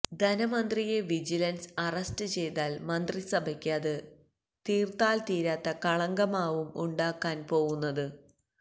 ധനമന്ത്രിയെ vigilance arrest ചെയ്താല് മന്ത്രിസഭയ്ക്ക് അത് തീര്ത്താല് തീരാത്ത കളങ്കമാകും ഉണ്ടാക്കാന് പോകുന്നത്